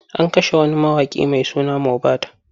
An kashe wani mawaƙi mai suna Mobad.